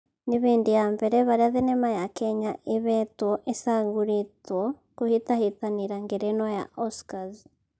Nĩ hĩndĩ ya mbere harĩa thenema ya kenya ĩhetwo ĩcagũrĩtwo kũhĩtahĩtanĩra ngerenwa ya Oscars